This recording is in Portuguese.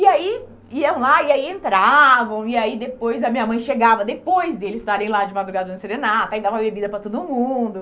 E aí, iam lá, e aí entravam, e aí depois a minha mãe chegava depois deles estarem lá de madrugada fazendo serenata, e dava bebida para todo mundo.